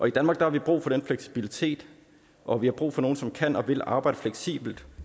i danmark har vi brug for den fleksibilitet og vi har brug for nogle som kan og vil arbejde fleksibelt